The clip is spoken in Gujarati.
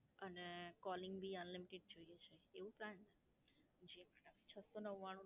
અને Calling બી Unlimited જોઈએ છે, એવું Plan